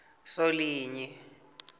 solinye